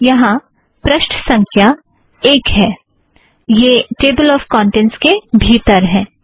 यहाँ पृष्ठ संख्या एक है यह टेबल ऑफ़ कौंटेंट्स के भीतर है